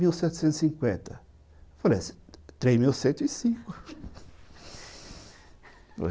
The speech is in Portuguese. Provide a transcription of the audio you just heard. mil setecentos e cinquenta, falei é três mil cento e cinco